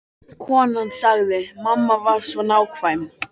Konan sagði: Mamma var svo nákvæm.